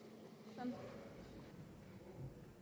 jeg